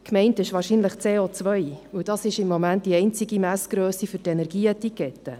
– Gemeint ist wahrscheinlich CO, denn das ist im Moment die einzige Messgrösse für die Energieetikette.